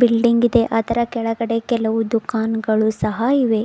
Building ಇದೆ ಅದರ ಕೆಳಗಡೆ ಕೆಲವು ದುಕಾನಗಳು ಸಹ ಇವೆ.